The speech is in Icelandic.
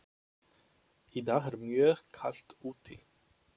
Í dag er mjög kalt úti.